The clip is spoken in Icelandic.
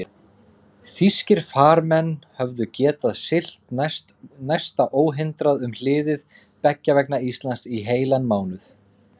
Þýskir farmenn höfðu getað siglt næsta óhindrað um hliðið beggja vegna Íslands í heilan mánuð.